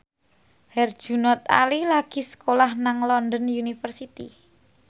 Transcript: Herjunot Ali lagi sekolah nang London University